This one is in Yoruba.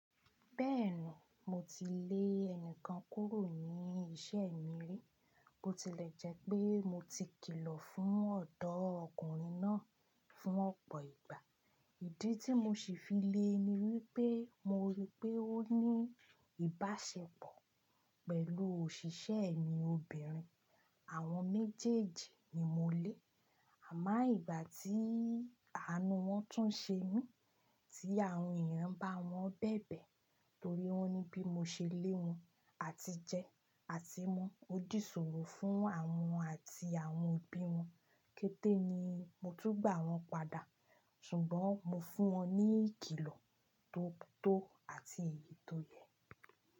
Bẹ́ẹ̀ni, mo ti lé ẹnìkan kúrò ní iṣẹ́ mi rí, bó tilẹ̀ jẹ́ pé mo ti kìlọ̀ fún ọ̀dọ́ ọkùnrin náà fún ọ̀pọ̀ ìgbà. Ìdí tí mo ṣì fi le ni wípé mo rí pé ó ní ìbáṣepọ̀ pẹ̀lú òṣìṣẹ́ mi obìnrin. Àwọn méjèèjì ni mo lé, àmá ìgbà tí àánú wọn tún ṣe mí, tí àwọn èèyàn bá wọn bẹ̀bẹ̀ torí wọ́n ní bí mo ṣe lé wọn àti jẹ àti mu, ó dì sọ̀rọ̀ fún àwọn àti àwọn òbí wọn. Kété ni mo tún gbà wọn padà, ṣùgbọ́n mo fún wọn ní ìkìlọ̀ tó tó àti èyí tó yẹ.